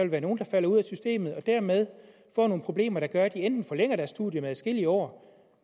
være nogle der falder ud af systemet og dermed får nogle problemer der gør at de enten forlænger deres studium med adskillige år